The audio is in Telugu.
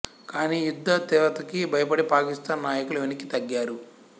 కానీ యుద్ధ తీవ్రతకి భయపడి పాకిస్తాన్ నాయకులు వెనక్కి తగ్గారు